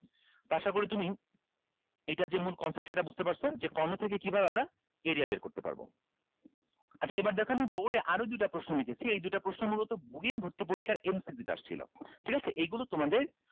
তো আশা করি তুমি এইটার যে মূল concept সেইটা বুঝতে পারছো যে কর্ণ থেকে কিভাবে আমরা area বের করতে পারবো আচ্ছা এবার দেখো আমি board এ আরো দুইটা প্রশ্ন লিখেছি এই দুইটা প্রশ্ন মূলত ভর্তি পরীক্ষার MCQ তে আসছিলো ঠিক আছে এইগুলো তোমাদের